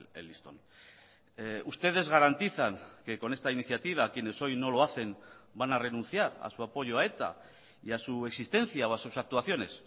el listón ustedes garantizan que con esta iniciativa quienes hoy no lo hacen van a renunciar a su apoyo a eta y a su existencia o a sus actuaciones